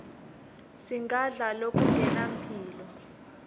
singadla lokungenampilo